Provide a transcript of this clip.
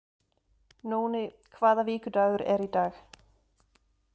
Nóni, hvaða vikudagur er í dag?